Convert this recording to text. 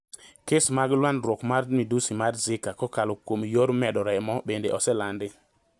Kes mag landruok mar midusi mar Zika kokalo kuom yor medo remo bende oselandi.